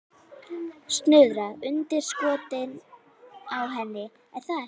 Snuðra undir skottið á henni, er það ekki?